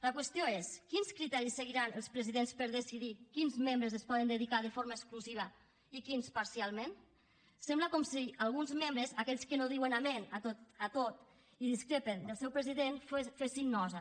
la qüestió és quins criteris seguiran els presidents per decidir quins membres s’hi poden dedicar de forma exclusiva i quins parcialment sembla com si alguns membres aquells que no diuen amén a tot i discrepen del seu president fessin nosa